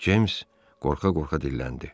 James qorxa-qorxa dilləndi.